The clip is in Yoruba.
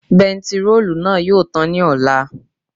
Bentiróòlù náà yóò tàn ní ọ̀la